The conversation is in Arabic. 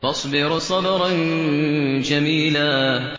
فَاصْبِرْ صَبْرًا جَمِيلًا